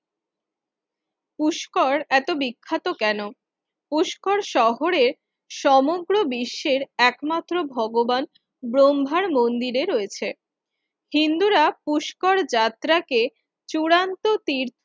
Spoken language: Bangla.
পুষ্কর এত বিখ্যাত কেন? পুষ্কর শহরের সমগ্র বিশ্বের একমাত্র ভগবান ব্রহ্মার মন্দিরে রয়েছে। হিন্দুরা পুষ্কর যাত্রা কে চূড়ান্ত তীর্থ